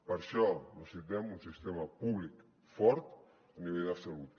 per això necessitem un sistema públic fort a nivell de salut